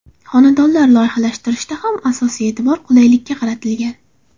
Xonadonlar loyihalashtirishda ham asosiy e’tibor qulaylikka qaratilgan.